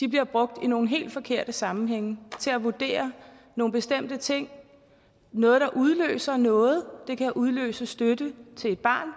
de bliver brugt i nogle helt forkerte sammenhænge til at vurdere nogle bestemte ting noget der udløser noget det kan udløse støtte til et barn